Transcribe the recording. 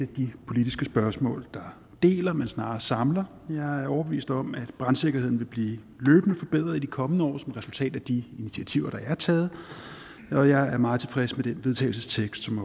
de politiske spørgsmål der deler men snarere samler jeg er overbevist om at brandsikkerheden løbende vil blive forbedret i de kommende år som resultat af de initiativer der er taget og jeg er meget tilfreds med den vedtagelsestekst som